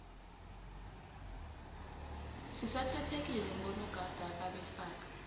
sisathathekile ngonogada ababefaka